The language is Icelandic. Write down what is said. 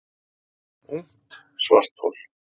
Ungt svarthol